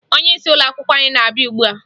Onyeisi ụlọakwụkwọ anyị na-abịa ugbua